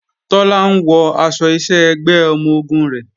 Tọ́lá ń wọ aṣọ iṣẹ́ ẹgbẹ́ ọmọ-ogun rẹ̀